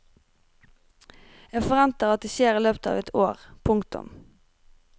Jeg forventer at det skjer i løpet av ett år. punktum